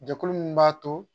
Jɛkulu min b'a to